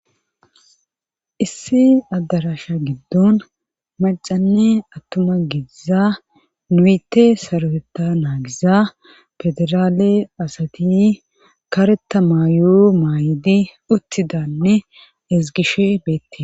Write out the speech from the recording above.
Issi adarashshe giddon macanne attuma giiza nuyete sarweta naagiza federaale asati kareta maayoo maayidi uttidanne ezgishshe beettees